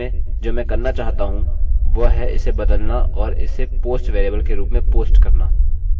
और यहाँ हम get के बदले post कहेंगे और यह काम करेगा